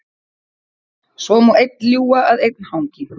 Svo má einn ljúga að einn hangi.